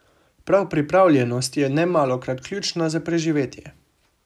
Prav pripravljenost je nemalokrat ključna za preživetje.